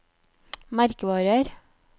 merkevarer